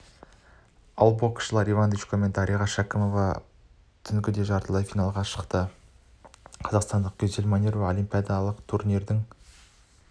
ал боксшылар иван дычко мен дариға шәкімова түнгі де жартылай финалға шығады қазақстандықгюзель манюрова олимпиадалық турнирдың